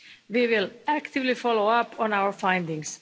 We will actively follow up on our findings.